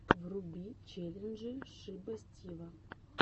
вруби челленджи шиба стива